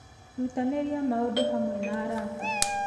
Rutanĩrie maũndũ hamwe na arata.